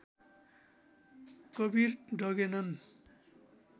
Kabir डगेनन्